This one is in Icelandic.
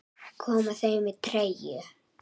Koma þau með treyju?